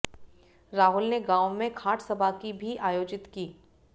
राहुल ने गांव में खाटसभा भी आयोजित की